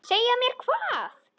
Segja mér hvað?